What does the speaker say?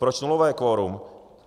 Proč nulové kvorum?